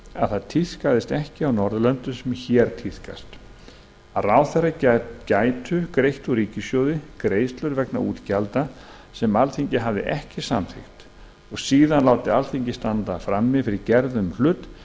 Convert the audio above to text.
að það tíðkaðist ekki á norðurlöndum sem hér tíðkast að ráðherrar gætu greitt úr ríkissjóði greiðslur vegna útgjalda sem alþingi hafði ekki samþykkt og síðan látið alþingi standa frammi fyrir gerðum hlut